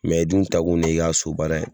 Mɛ i dun taa kun ne ye i ka so baara ye.